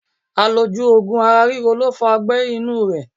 Àlòjù ogun ara ríro lo fa ogbé̩ inú rẹ